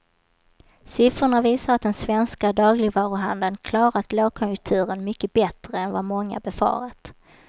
Siffrorna visar att den svenska dagligvaruhandeln klarat lågkonjunkturen mycket bättre än vad många befarat.